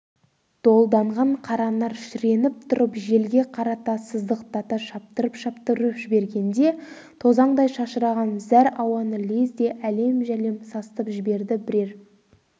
долданған қаранар шіреніп тұрып желге қарата сыздықтата шаптырып-шаптырып жібергенде тозаңдай шашыраған зәр ауаны лезде әлем-жәлем сасытып жіберді бірер